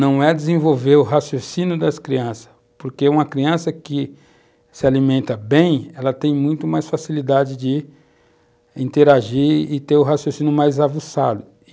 Não é desenvolver o raciocínio das crianças, porque uma criança que se alimenta bem, ela tem muito mais facilidade de interagir e ter o raciocínio mais avulsado.